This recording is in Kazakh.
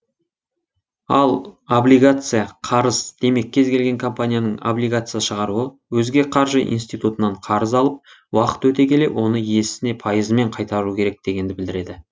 ал облигация қарыз демек кез келген компанияның облигация шығаруы өзге қаржы инситутынан қарыз алып уақыт өте келе оны иесіне пайызымен қайтаруы керек дегенді білдіреді